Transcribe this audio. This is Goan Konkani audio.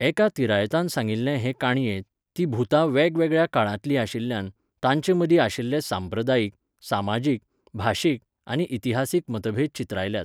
एका तिरायतान सांगिल्ले हे का्णयेंत, हीं भुतां वेगवेगळ्या काळांतलीं आशिल्ल्यान, तांचेमदीं आशिल्ले सांप्रदायीक, समाजीक, भाशीक, आनी इतिहासीक मतभेद चित्रायल्यात.